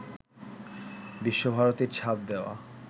বিশ্বভারতীর ছাপ দেওয়া